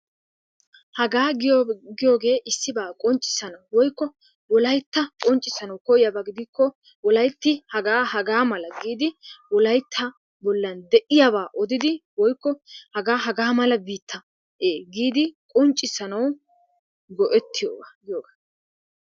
Hagaa giyogee issibaa qonccissana woykko wolaytta qonccissanawu koyiyaba gidikko wolaytti hagaa hagaa mala giidi wolaytta bollan de'iyabaa odidi woykko hagaa hagaa mala biitta ee giidi qonccissanawu go'ettiyogaa giyogaa.